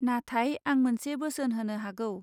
नाथाय आं मोनसे बोसोन होनो हागौ.